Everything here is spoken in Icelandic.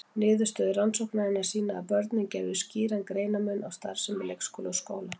Niðurstöður rannsóknarinnar sýna að börnin gerðu skýran greinarmun á starfsemi leikskóla og grunnskóla.